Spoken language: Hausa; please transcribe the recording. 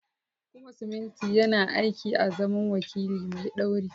Kuma siminti yana aiki azaman wakili mai ɗauri.